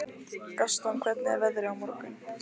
Gaston, hvernig er veðrið á morgun?